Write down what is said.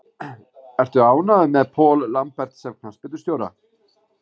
Ertu ánægður með Paul Lambert sem knattspyrnustjóra?